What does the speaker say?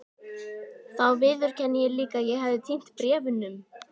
Þá viðurkenndi ég líka að ég hefði týnt bréfunum.